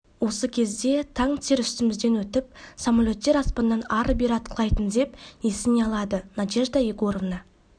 осы кезде танктер үстімізден өтіп самолеттер аспаннан ары бері атқылайтын деп есіне алады надежда егоровна